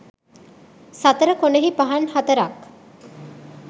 සතර කොනෙහි පහන් හතරක්